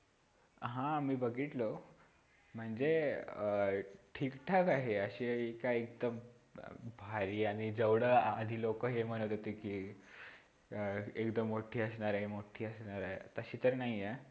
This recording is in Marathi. हा मी बघितल, ते म्हणजे ठीकठाक आहे, अशी काय इतक भारी आणि जेव्हढ हि लोक हे म्हणत होती कि एकदम मोठी असणार आहे तशी तर नाहीये.